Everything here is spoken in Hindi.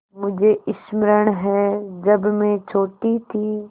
मुझे स्मरण है जब मैं छोटी थी